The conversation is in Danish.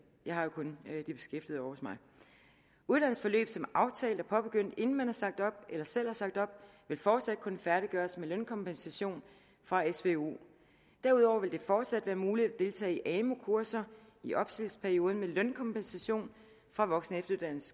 jeg har jo kun de beskæftigede hos mig uddannelsesforløb som er aftalt og påbegyndt inden man er sagt op eller selv har sagt op vil fortsat kunne færdiggøres med lønkompensation fra svu derudover vil det fortsat være muligt at deltage i amu kurser i opsigelsesperioden med lønkompensation fra voksen